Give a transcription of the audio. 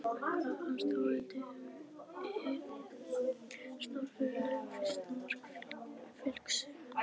En hvað fannst Þórhildi um hið stórfurðulega fyrsta mark Fylkis?